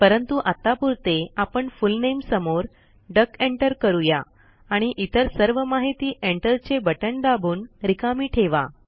परंतु आत्तापुरते आपण फुल नामे समोर डक एंटर करूया आणि इतर सर्व माहिती एंटर चे बटण दाबून रिकामी ठेवा